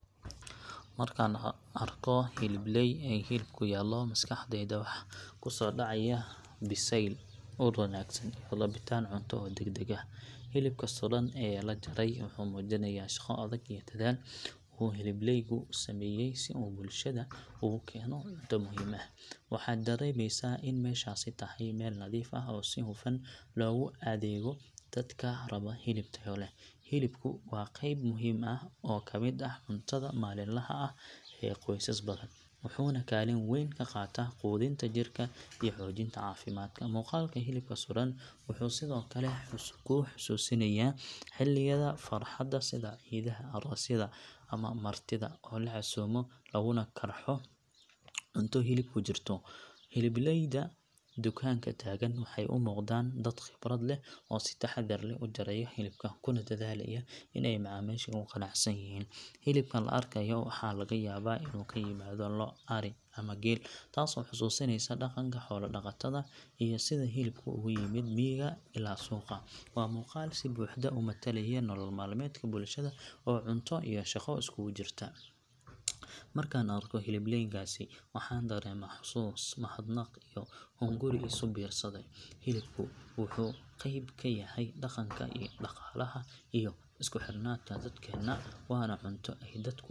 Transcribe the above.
Markaan arko hilibleey ay hilib yaallo maskaxdayda waxa ku soo dhacaya biseyl, ur wanaagsan, iyo rabitaan cunto oo degdeg ah. Hilibka sudhan ee la jaray wuxuu muujinayaa shaqo adag iyo dadaal uu hilibleygu sameeyay si uu bulshada ugu keeno cunto muhiim ah. Waxaad dareemaysaa in meeshaasi tahay meel nadiif ah oo si hufan loogu adeego dadka raba hilib tayo leh. Hilibku waa qayb muhiim ah oo ka mid ah cuntada maalinlaha ah ee qoysas badan, wuxuuna kaalin wayn ka qaataa quudinta jirka iyo xoojinta caafimaadka. Muuqaalka hilibka sudhan wuxuu sidoo kale kuu xusuusinayaa xilliyada farxadda sida ciidaha, aroosyada ama martida oo la casuumo laguna karxo cunto hilib ku jiro. Hilibleyda dukaanka taagan waxay u muuqdaan dad khibrad leh oo si taxaddar leh u jaraya hilibka, kuna dadaalaya in ay macaamiisha ku qanacsan yihiin. Hilibka la arkayo waxaa laga yaabaa inuu ka yimid lo’, ari ama geel taasoo xasuusinaysa dhaqanka xoolo-dhaqatada iyo sida hilibku uga yimid miyiga ilaa suuqa. Waa muuqaal si buuxda u metelaya nolol maalmeedka bulshada oo cunto iyo shaqo iskugu jirta. Markaan arko hilibleeygaasi, waxaan dareemaa xasuus, mahadnaq iyo hunguri isu biirsaday. Hilibku wuxuu qayb ka yahay dhaqanka, dhaqaalaha iyo isku xirnaanta dadkeenna. Waana cunto ay dadku .